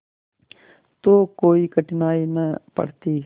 तो कोई कठिनाई न पड़ती